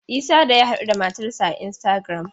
Isah da ya haɗuda matar sa a Instagram.